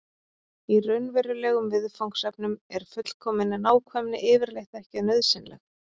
í raunverulegum viðfangsefnum er fullkomin nákvæmni yfirleitt ekki nauðsynleg